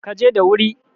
ka je dawiri!